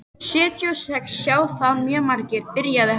Sjötíu og sex sjá það mjög margir, byrjaði hann.